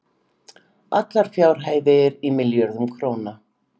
allar fjárhæðir í milljörðum króna